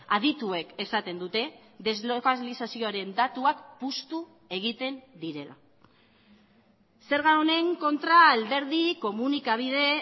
adituek esaten dute deslokalizazioaren datuak puztu egiten direla zerga honen kontra alderdi komunikabide